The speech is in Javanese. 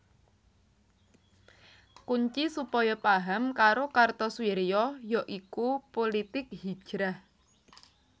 Kunci supaya paham karo Kartosoewirjo ya iku pulitik hijrah